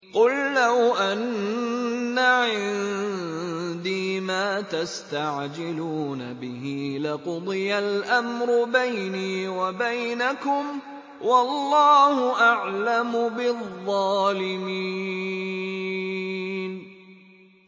قُل لَّوْ أَنَّ عِندِي مَا تَسْتَعْجِلُونَ بِهِ لَقُضِيَ الْأَمْرُ بَيْنِي وَبَيْنَكُمْ ۗ وَاللَّهُ أَعْلَمُ بِالظَّالِمِينَ